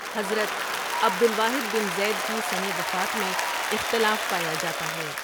حضرت عبدالواحد بن زیدؒ کی سنِ وفات میں اختلاف پایا جاتا ہے ۔